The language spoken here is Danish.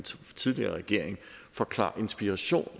tidligere regering for klar inspiration